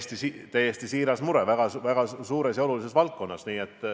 See on täiesti siiras mure, mis seotud väga suure ja olulise valdkonnaga.